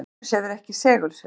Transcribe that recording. venus hefur ekki segulsvið